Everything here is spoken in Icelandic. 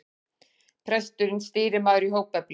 Presturinn stýrimaður í hópefli.